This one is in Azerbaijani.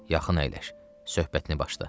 Yaxın əyləş, söhbətini başla.